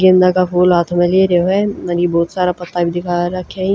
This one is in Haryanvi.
गेंदा का फूल हाथ म ले रयो हअर ये ब्होत सारा पत्ता भी दिखा राख्या हं।